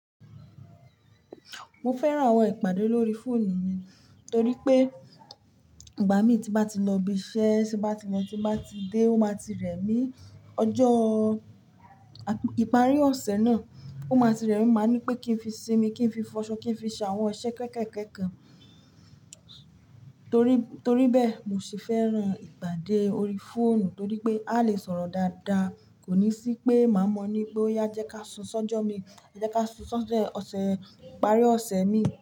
Mo fẹ́ran àwọn ìpàdé lórí fóònù mi torí pé ìgbà mi tí mo bá ti lọ ibi iṣẹ́, tí bá ti lọ, tí bá ti dé, ó máa ti rẹ̀ mí ọjọ́ ìparí ọ̀sẹ̀ náà, ó máa ti rẹ̀ mí, máa ní pé kí n fi sinmi, kí n fi fọṣọ, kí n fi ṣe àwọn iṣẹ́ kẹ́kẹ̀kẹ́ kan. Torí, torí bẹ́ẹ̀ mo sì fẹ́ran ìpàdé orí fóònù torí pé a lè sọ̀rọ̀ dáadáa kò ní sí pé màá mọ̀ ní pé ó yá jẹ́ ká sún sójọ́ mi, jẹ́ ká sún sójọ́ ọ̀sẹ̀ ìparí ọ̀sẹ̀ mi.